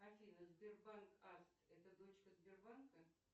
афина сбербанк аст это дочка сбербанка